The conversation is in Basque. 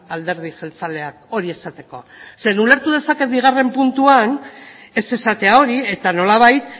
alderdi jeltzaleak hori esateko ze ulertu dezaket bigarren puntuan ez esatea hori eta nolabait